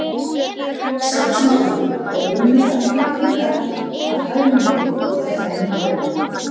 Samt sem áður er unnið af fullum krafti að hagnýtingu þessara nýju efna.